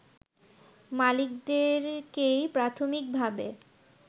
মালিকদেরকেই প্রাথমিকভাবে